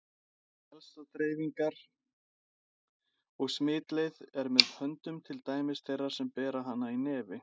Helsta dreifingar- og smitleið er með höndum til dæmis þeirra sem bera hana í nefi.